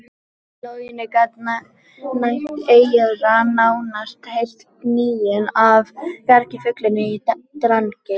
Í logninu gat næmt eyra nánast heyrt gnýinn af gargi fuglanna í Drangey.